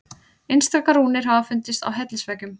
Einstaka rúnir hafa fundist á hellisveggjum.